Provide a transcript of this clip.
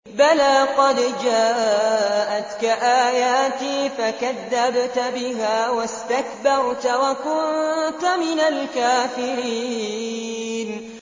بَلَىٰ قَدْ جَاءَتْكَ آيَاتِي فَكَذَّبْتَ بِهَا وَاسْتَكْبَرْتَ وَكُنتَ مِنَ الْكَافِرِينَ